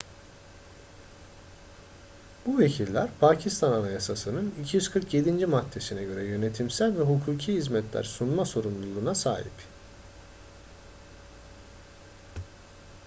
bu vekiller pakistan anayasası'nın 247. maddesine göre yönetimsel ve hukuki hizmetler sunma sorumluluğuna sahip